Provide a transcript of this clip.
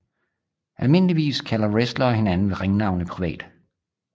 Almindeligvis kalder wrestlere hinanden ved ringnavne privat